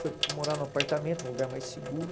Foi morar num apartamento, num lugar mais seguro.